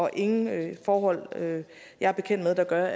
er ingen forhold jeg er bekendt med der gør